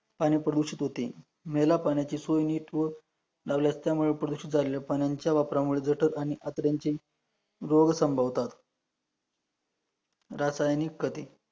पाणी प्रदूषित होते, मेला पाण्याची सोय नीट होत लावल्यास त्यामुळे प्रदर्शित झालेल्या पाण्याच्या वापरामुळे जटड आणि आतड्यांची रोग संभवतात, रासायनिक कधी